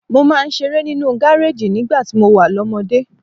Mo máa ń ṣeré nínú gareji nígbà tí mo wà lọ́mọdé.